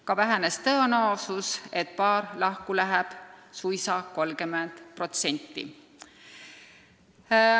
Ka on vähenenud tõenäosus, et paar lahku läheb, suisa 30%.